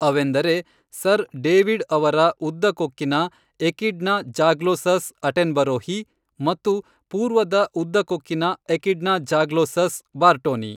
ಅವೆಂದರೆ sir David ಅವರ ಉದ್ದ ಕೊಕ್ಕಿನ ಎಕಿಡ್ನ ಝಾಗ್ಲೋಸಸ್ ಅಟೆನ್ಬರೋಹಿ ಮತ್ತು ಪೂರ್ವದ ಉದ್ದ ಕೊಕ್ಕಿನ ಎಕಿಡ್ನ ಝಾಗ್ಲೋಸಸ್ ಬಾರ್ಟೋನಿ